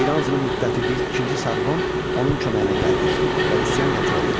İranzunun müttəfiqi ikinci Sarqon onun köməyinə gəldi və üsyan yatırıldı.